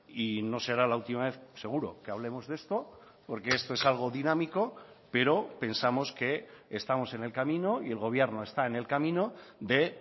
y no será la última vez seguro que hablemos de esto porque esto es algo dinámico pero pensamos que estamos en el camino y el gobierno está en el camino de